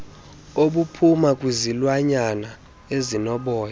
obuphuma kwizilwanyana ezinoboya